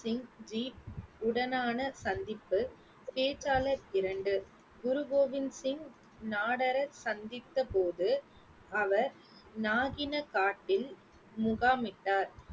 சிங் ஜி உடனான சந்திப்பு பேச்சாளர் இரண்டு குரு கோவிந்த் சிங் சந்தித்த போது அவர் காட்டில் முகாமிட்டார்